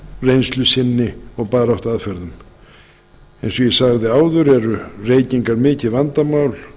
reynslu sinni og baráttuaðferðum eins og ég sagði áður eru reykingar mikið vandamál